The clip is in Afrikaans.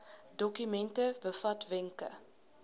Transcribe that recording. dokument bevat wenke